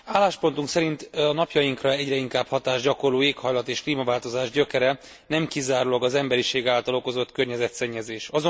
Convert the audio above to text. Álláspontunk szerint a napjainkra egyre inkább hatást gyakorló éghajlat és klímaváltozás gyökere nem kizárólag az emberiség által okozott környezetszennyezés.